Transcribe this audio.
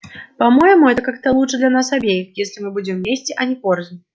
по-моему это как-то лучше для нас обеих если мы будем вместе а не порознь